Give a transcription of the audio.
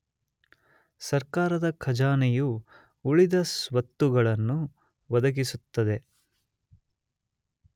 ಸರ್ಕಾರದ ಖಜಾನೆಯು ಉಳಿದ ಸ್ವತ್ತುಗಳನ್ನು ಒದಗಿಸುತ್ತದೆ.